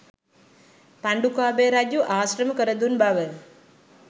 පණ්ඩුකාභය රජු ආශ්‍රම කරදුන් බව